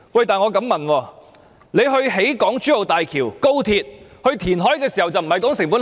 但是，為何政府興建港珠澳大橋、高鐵、填海時，卻不談成本效益？